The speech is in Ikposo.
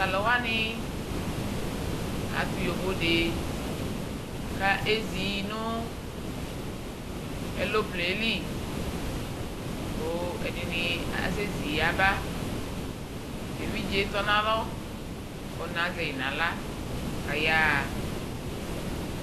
Talu wane ato yovode ka ezi no ɛloplen ɛli, ko ɛdene asɛ zi yaba Te vidze tɔ nalɔ, ɔna zɛi nahla ka yaha